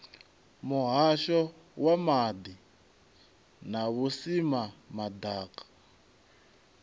muhasho wa maḓi na vhusimama ḓaka